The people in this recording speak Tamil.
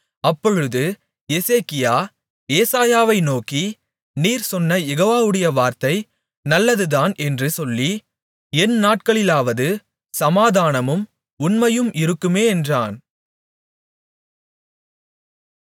அப்பொழுது எசேக்கியா ஏசாயாவை நோக்கி நீர் சொன்ன யெகோவாவுடைய வார்த்தை நல்லதுதான் என்று சொல்லி என் நாட்களிலாவது சமாதானமும் உண்மையும் இருக்குமே என்றான்